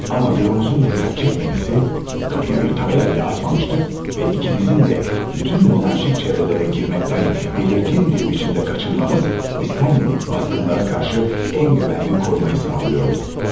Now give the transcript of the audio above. Amma büromuzun diqqət çəkməməsi, qapıya bir tabela belə asmamışdıq və ikimizin də bütün monarşik çevrələrə girməkdən bəlirgin bir biçimdə qaçınmamız istənmədik basqınlara qarşı ən güvənli qorumayı sağlıyordu.